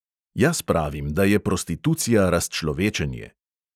Jaz pravim, da je prostitucija razčlovečenje.